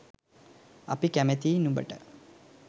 අපි කැමතියි නුඹට